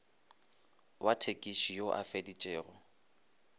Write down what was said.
wa thekisi yo a feditšego